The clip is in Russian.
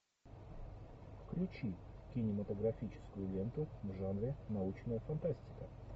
включи кинематографическую ленту в жанре научная фантастика